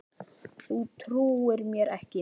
Þú trúir mér ekki?